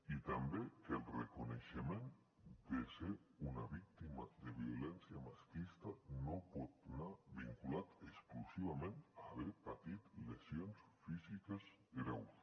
i també que el reconeixement de ser una víctima de violència masclista no pot anar vinculat exclusivament a haver patit lesions físiques greus